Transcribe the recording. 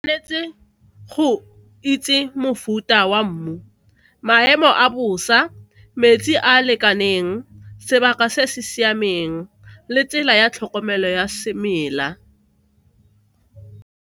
Ne tse go itse mofuta wa mmu, maemo a bosa, metsi a a lekaneng, sebaka se se siameng le tsela ya tlhokomelo ya semela.